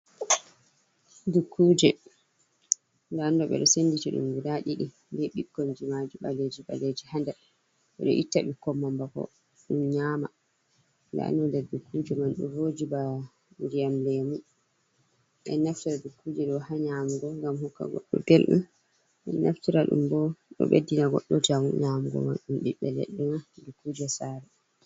Dukkuje ndadumɗo ɓeɗo senditi dum guda didi be ɓikkoi jimaji ɓaleji baleji hander ɓeɗo itta bikkoi man bako ɓe nyama, ndaɗum ɗou dukkuje man do voji ba ndiyam lemu ɓedo naftira dukkuje do ha nyamugo ngam huka goddo beldum ɓeɗo naftira dum bo ɗo beddina goddo njamu nyamugo man ɗum ɓiɓɓe leɗɗoe man dukkuje sare.